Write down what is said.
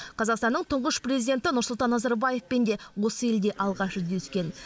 қазақстанның тұңғыш президенті нұрсұлтан назарбаевпен де осы елде алғаш жүздескен